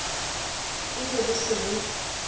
e be bo se bo